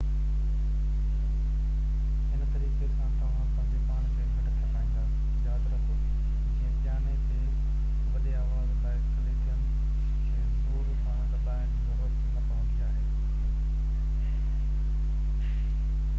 هن طريقي سان توهان پنهنجي پاڻ کي گهٽ ٿڪائيندا ياد رکو جيئن پياني تي وڏي آواز لاءِ ڪليدين کي زور سان دٻائڻ جي ضرورت نہ پوندي آهي